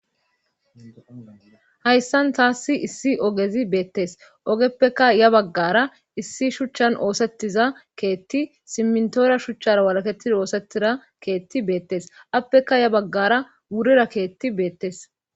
Hayssan taassi issi ogezi beettes ogeppeka ya baggara issi shuchchan oosettiza keetti simntoora shuchchara walaketi oosettira keetti beettes appeka ya baggara wurira keetti beettes.